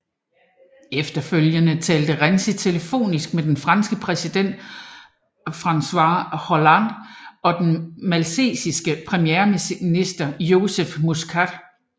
Efterfølgende talte Renzi telefonisk med den franske præsident François Hollande og den maltesisk premierminister Joseph Muscat